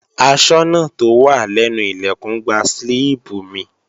Aṣọ́nà tó wà lẹ́nu Ilẹ̀kùn gba slíìpù mi